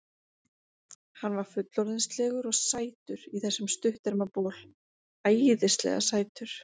Hann var fullorðinslegur og sætur í þessum stutterma bol, æðislega sætur.